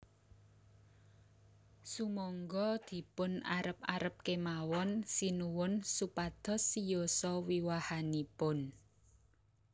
Sumangga dipun arep arep kemawon Sinuwun supados siyosa wiwahanipun